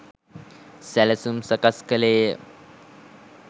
සැළසුම් සකස් කළේ ය